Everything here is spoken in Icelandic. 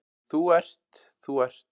Þú ert, þú ert.